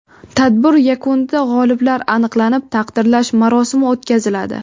Tadbir yakunida g‘oliblar aniqlanib, taqdirlash marosimi o‘tkaziladi.